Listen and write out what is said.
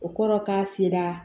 O kɔrɔ k'a sera